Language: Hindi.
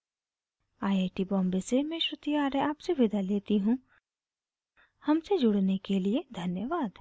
iit iit टी बॉम्बे से मैं श्रुति आर्य आपसे विदा लेती हूँ हमसे जुड़ने के लिए धन्यवाद